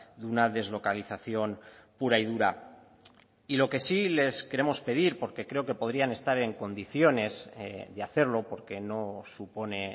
de una deslocalización pura y dura y lo que sí les queremos pedir porque creo que podrían estar en condiciones de hacerlo porque no supone